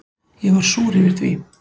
Ég var súr yfir því.